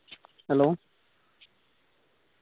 hello